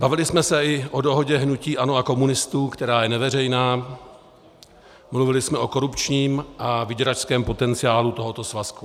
Bavili jsme se i o dohodě hnutí ANO a komunistů, která je neveřejná, mluvili jsme o korupčním a vyděračském potenciálu tohoto svazku.